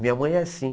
Minha mãe é assim.